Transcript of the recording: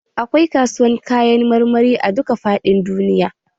Akwai kasuwar Kayan marmari a dukka faɗin duniya.